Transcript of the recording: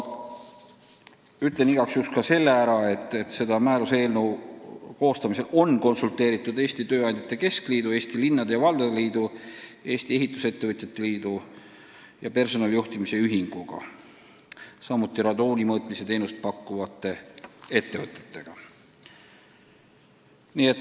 Ütlen igaks juhuks ka seda, et selle määruse eelnõu koostamisel on konsulteeritud Eesti Tööandjate Keskliidu, Eesti Linnade ja Valdade Liidu, Eesti Ehitusettevõtjate Liidu ja personalijuhtimise ühinguga, samuti radooni mõõtmise teenust pakkuvate ettevõtetega.